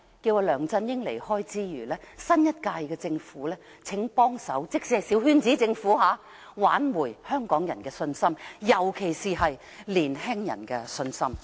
在梁振英離開之餘，新一屆政府即使是小圈子政府，也請幫忙挽回香港人的信心，尤其是年青人的信心。